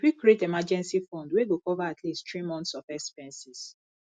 we fit create emergency fund wey go cover at least three months of expenses